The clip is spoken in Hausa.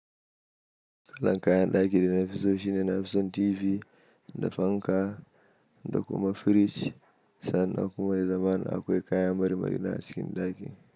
Kalan kayan ɗaki da nafi so shine nafi son TV da fanka da kuma firij, sannan a kuma da zamana akwai kayan mar-mari na acikin ɗaki.